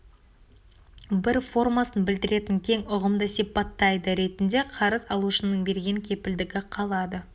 бір формасын білдіретін кең ұғымды сипаттайды ретінде қарыз алушының берген кепілдігі қалады